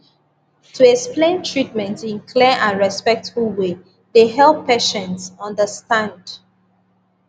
to explain treatment in clear and respectful way dey help patients understand